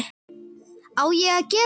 Á ég að gera það?